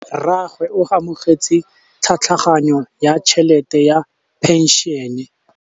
Rragwe o amogetse tlhatlhaganyô ya tšhelête ya phenšene.